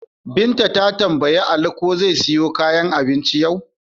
Binta ta tambayi Ali ko zai siyo kayan abincin yau?